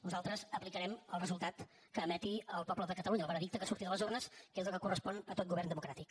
nosaltres aplicarem el resultat que emeti el poble de catalunya el veredicte que surti de les urnes que és el que correspon a tot govern democràtic